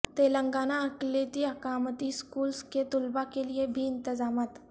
تلنگانہ اقلیتی اقامتی اسکولس کے طلبا کیلئے بھی انتظامات